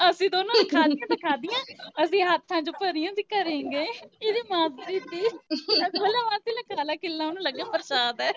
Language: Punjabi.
ਅਸੀਂ ਦੋਨਾਂ ਨੇ ਖਾਦੀਆਂ ਤਾ ਖਾਦੀਆਂ ਅਸੀਂ ਹੱਥਾਂ ਚ ਭਰੀਆਂ, ਅਸੀਂ ਘਰੇ ਗਏ ਏਦੀ ਮਾਸੀ ਤੀਂ ਅਸੀਂ ਬੋਲਿਆ ਮਾਸੀ ਲੈ ਖਾ ਲੈ ਖਿੱਲਾਂ ਉਨੂੰ ਲਗਿਆ ਵੀ ਪਰਸ਼ਾਦ ਏ